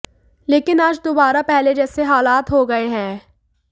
लेकिन आज दोबारा पहले जैसे हालात हो गए हैं